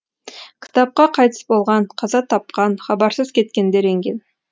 кітапқа қайтыс болған қаза тапқан хабарсыз кеткендер енген